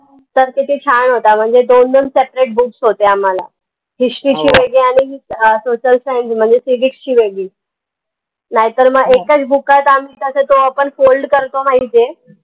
तर किती छान होता म्हनजे दोन दोन separate books होते आम्हाला history ची आनि social science म्हनजे civics ची वेगळी नाई तर मग book आहे त आम्ही कस तो आपण fold करतो माहितीय